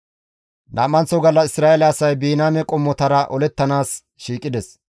Nam7anththo gallas Isra7eele asay Biniyaame qommotara olettanaas shiiqides.